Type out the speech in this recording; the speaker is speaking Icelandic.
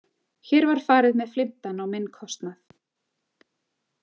Hér var farið með flimtan á minn kostnað.